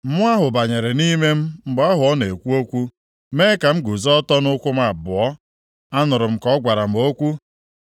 Mmụọ ahụ banyere nʼime m mgbe ahụ ọ na-ekwu okwu, mee ka m guzo ọtọ nʼụkwụ m abụọ. Anụrụ m ka ọ gwara m okwu.